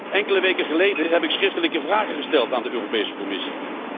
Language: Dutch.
Enkele weken geleden heb ik schriftelijke vragen gesteld aan de Europese Commissie.